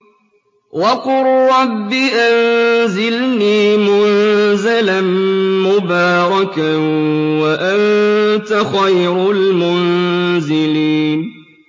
وَقُل رَّبِّ أَنزِلْنِي مُنزَلًا مُّبَارَكًا وَأَنتَ خَيْرُ الْمُنزِلِينَ